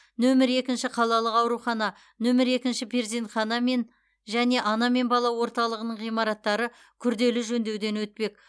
нөмір екінші қалалық аурухана нөмір екінші перзентхана мен және ана мен бала орталығының ғимараттары күрделі жөндеуден өтпек